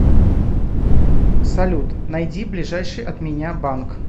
салют найди ближайший от меня банк